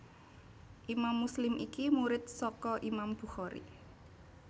Imam Muslim iki murid saka Imam Bukhari